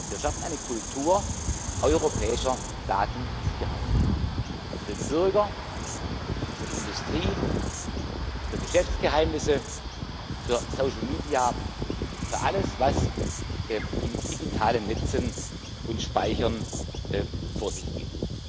Wir schaffen eine Kultur europäischer Datensicherheit für den Bürger, für die Industrie, für Geschäftsgeheimnisse, für Social Media, für alles, was in digitalen Netzen und Speichern vor sich geht.